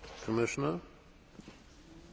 Basically I think that we agree.